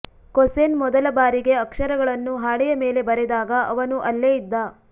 ಕೊಸೆನ್ ಮೊದಲ ಬಾರಿಗೆ ಅಕ್ಷರಗಳನ್ನು ಹಾಳೆಯ ಮೇಲೆ ಬರೆದಾಗ ಅವನೂ ಅಲ್ಲೇ ಇದ್ದ